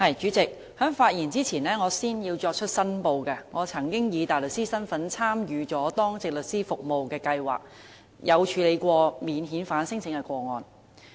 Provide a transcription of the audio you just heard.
主席，在我發言之前，首先要作出申報，我曾經以大律師身份參與當值律師服務計劃，處理免遣返聲請的個案。